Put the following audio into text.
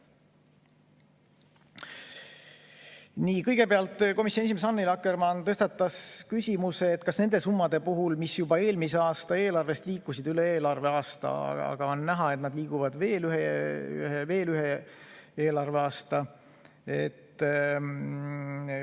Nii, kõigepealt komisjoni esimees Annely Akkermann tõstatas küsimuse nende summade kohta, mis juba eelmise aasta eelarvest liikusid sellesse arveaastasse, ja on näha, et nad liiguvad edasi veel ühe eelarveaasta võrra.